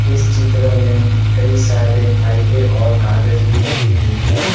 इस चित्र में कई सारे फाइलें और कागज भी रखी हुई हैं।